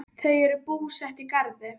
Þau eru búsett í Garði.